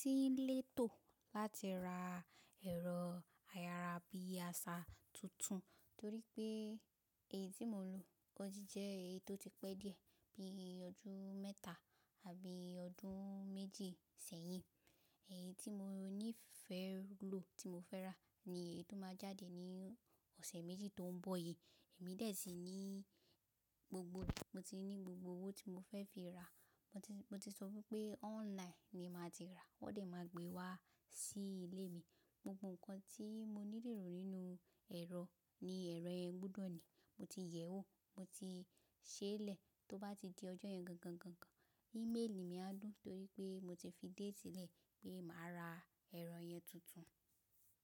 Tí n létò ba ti ra ẹ̀rọ ayárabíàṣá tuntun torí pé èyii tí mo ń lò otijẹ́ èyí tó ti pẹ́ díẹ̀ bí ọdún mẹ́ta àbí ọdún méjì sẹ́yìn. Èyí tí mo ní ìfẹ́ lò, tí mo fẹ́ rà ni èyíi tó máa jáde ní ọ̀sẹ̀ méjì tó ń bọ̀ yìí. Èmi dẹ̀ sí ní gbogbo ẹ̀, mo ti ní gbogbo owó tí mo fẹ́ fi ra, mo ti, mo ti sọ wípé online ni màá ti ra, wón dẹ̀ máa gbé wá sí ilé mi. Gbogbo nǹkan tí mo nílò nínú ẹ̀rọ ni ẹ̀rọ yẹn gbúdọ̀ ní, mo ti yẹ̀ ọ́, mo ti ṣèlẹ tó bá ti di ọjọ́ yẹn gangan, gangan, íméèlì mi á dùn torí pé mo ti fi date lẹ̀ pé màá ra ẹ̀rọ yẹn tuntun.